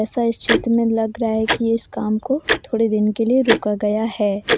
ऐसा इस चित्र में लग रहा है कि इस काम को थोड़े दिन के लिए रोका गया है ।